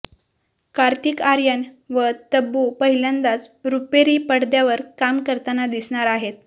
कार्तिक आर्यन व तब्बू पहिल्यांदाच रुपेरी पडद्यावर काम करताना दिसणार आहेत